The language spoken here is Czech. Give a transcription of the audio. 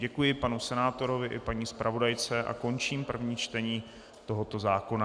Děkuji panu senátorovi i paní zpravodajce a končím první čtení tohoto zákona.